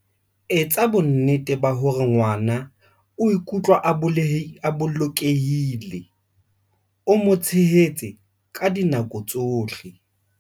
Etsa bonnete ba hore ngwana o ikutlwa a bolokehile, o mo tshehetse ka dinako tsohle.